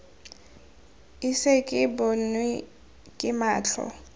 ise ke bonwe ke matlho